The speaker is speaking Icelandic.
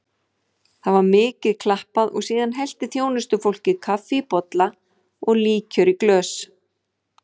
Það var mikið klappað og síðan hellti þjónustufólkið kaffi í bolla og líkjör í glös.